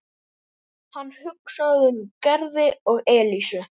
Hann hugsaði um Gerði og Elísu.